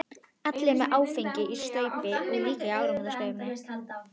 Allir eru með áfengi í staupi.